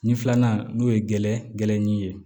Nin filanan n'o ye gɛrɛɲinin ye